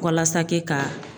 Walasa kɛ ka